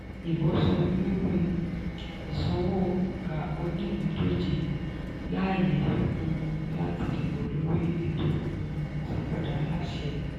ìbò sọ-lórí-ìsanwó gba oníìpíndọ̀jẹ̀ láàyè um láti dìbò lórí ètò um ìsanpadà aláṣẹ.